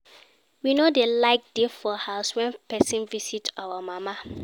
We no dey like dey for house wen pesin visit our mama.